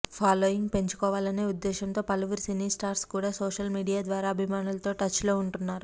following పెంచుకోవాలనే ఉద్దేశ్యంతో పలవురు సినీ స్టార్స్ కూడా సోషల్ మీడియా ద్వారా అభిమానులతో టచ్లో ఉంటున్నారు